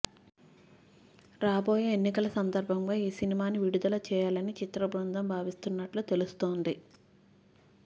రాబోయే ఎన్నికల సందర్భంగా ఈ సినిమాని విడుదల చేయాలని చిత్ర బృందం భావిస్తున్నట్టు తెలుస్తోంది